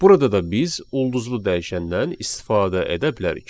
Burada da biz ulduzlu dəyişəndən istifadə edə bilərik.